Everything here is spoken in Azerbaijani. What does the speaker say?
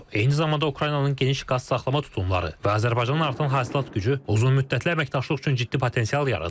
Eyni zamanda Ukraynanın geniş qaz saxlama tutumları və Azərbaycanın artan hasilat gücü uzunmüddətli əməkdaşlıq üçün ciddi potensial yaradır.